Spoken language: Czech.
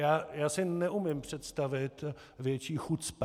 Já si neumím představit větší chucpe.